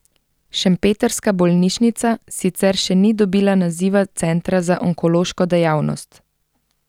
Šempetrska bolnišnica sicer še ni dobila naziva centra za onkološko dejavnost.